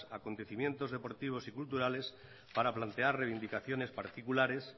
acontecimientos deportivos y culturales para plantear reivindicaciones particulares